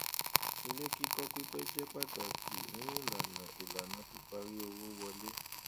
ilé kíkọ pípẹ jẹ pàtàkì ní ìlànà ìlànà píparí owó wọlé